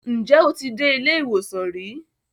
Ǹjẹ́ o ti dé ilé ìwòsàn rí?